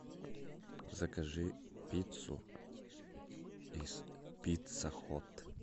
закажи пиццу из пицца хот